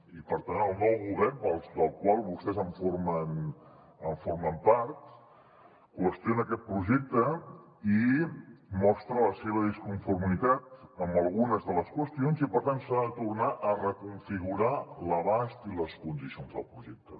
i per tant el nou govern del qual vostès en formen part qüestiona aquest projecte i mostra la seva disconformitat amb algunes de les qüestions i per tant s’ha de tornar a reconfigurar l’abast i les condicions del projecte